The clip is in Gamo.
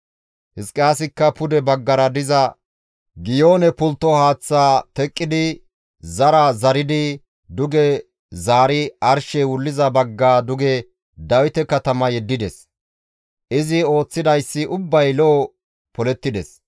Hizqiyaasikka pude baggara diza Giyoone pultto haaththaa teqqidi zari zaridi duge zaari arshey wulliza bagga duge Dawite katama yeddides; izi ooththidayssi ubbay lo7o polettides.